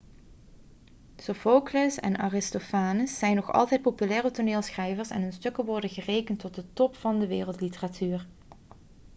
sophocles en aristophanes zijn nog altijd populaire toneelschrijvers en hun stukken worden gerekend tot de top van de wereldliteratuur